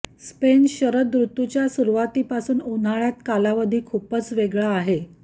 Spain शरद ऋतूतील च्या सुरुवातीपासून उन्हाळ्यात कालावधी खूपच वेगळी आहे